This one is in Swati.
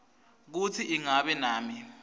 kutsi ingabe nami